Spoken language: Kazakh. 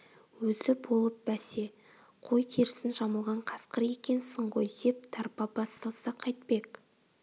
өзі болып бәсе қой терісін жамылған қасқыр екенсің ғой деп тарпа бас салса қайтпек